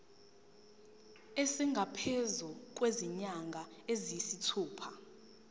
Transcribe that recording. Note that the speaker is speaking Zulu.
esingaphezu kwezinyanga eziyisithupha